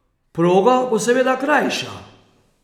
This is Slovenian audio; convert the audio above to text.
Proga bo seveda krajša.